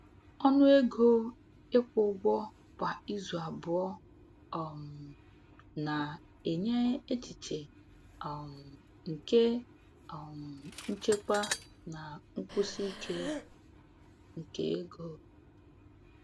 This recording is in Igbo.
Ọnụ ego ịkwụ ụgwọ kwa izu abụọ um na-enye echiche um nke um nchekwa na nkwụsi ike nke ego.